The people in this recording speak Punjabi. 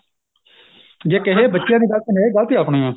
ਜੇ ਕਹੀਏ ਬੱਚਿਆਂ ਦੀ ਗਲਤੀ ਨਹੀਂ ਗਲਤੀ ਆਪਣੀ ਏ